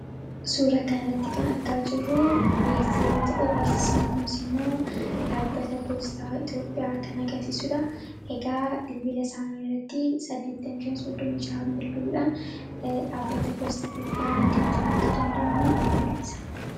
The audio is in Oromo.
suura kan irratti kan argaa jirruu beeksisa yoo ta'uu beeksisi kunsi immoo dhaabbata poostaa itoophiyaa kana garsiisuudha egaa biibila isaanii irratti 8536n bilbiluudhan dhaabbata poostaa itopiyaa argachuun akka danda'amu in mul'isa